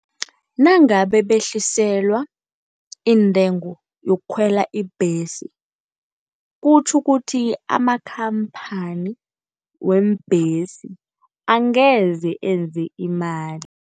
Nangabe behliselwa iintengo yokukhwela ibhesi, kutjho ukuthi amakhamphani weembhesi angeze enze imali.